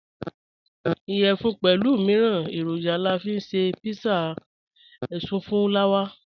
Iyẹfun pẹlu miiran eroja la fi nṣe pizza èṣùfùlàwà.